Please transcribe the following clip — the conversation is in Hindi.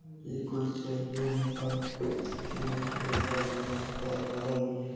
ये कोई सैलून है और ये क्रीम ये सब होगा दरवाज़ा भी है।